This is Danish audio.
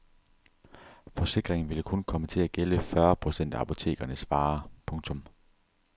Forsikringen ville kun komme til at gælde fyrre procent af apotekernes varer. punktum